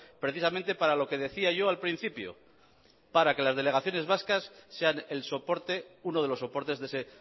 precisamente para lo que decía yo al principio para que las delegaciones vascas sean el soporte uno de los soportes de ese